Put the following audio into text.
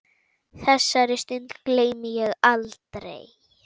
Þessari stund gleymi ég aldrei.